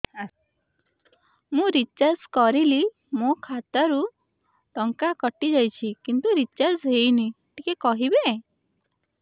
ମୁ ରିଚାର୍ଜ କରିଲି ମୋର ଖାତା ରୁ ଟଙ୍କା କଟି ଯାଇଛି କିନ୍ତୁ ରିଚାର୍ଜ ହେଇନି ଟିକେ କହିବେ